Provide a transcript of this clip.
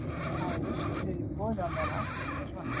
En hvaða lausnir eru í boði á meðan ástandið er svona?